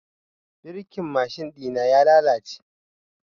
Birkin mashin ɗina ya lalace.